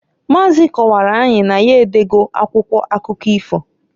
Maazị kọwaara anyị na ya edo go akwụkwọ akụkọ ifo.